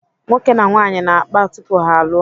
Nwoke na nwaanyị na-akpa tupu ha alụọ.